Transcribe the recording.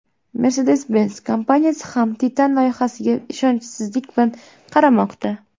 Mercedes-Benz kompaniyasi ham Titan loyihasiga ishonchsizlik bilan qaramoqda.